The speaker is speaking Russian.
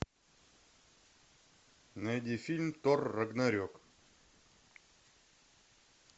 найди фильм тор рагнарек